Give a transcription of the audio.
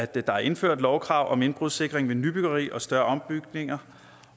der er indført lovkrav om indbrudssikring ved nybyggeri og større ombygninger